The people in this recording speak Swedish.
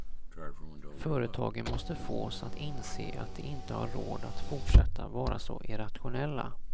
Företagen måste fås att inse att de inte har råd att fortsätta vara så irrationella.